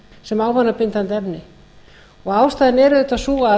sem ávanabindandi efni ástæðan auðvitað sú að